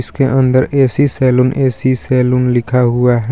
इसके अंदर A C saloon A C saloon लिखा हुआ हे.